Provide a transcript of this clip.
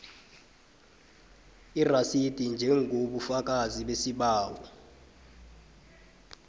irasidi njengobufakazi besibawo